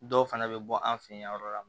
Dɔw fana bɛ bɔ an fɛ yen yɔrɔ dɔ la